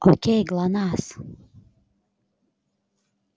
к кому пришла красавица